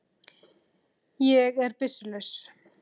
Ég er byssu laus.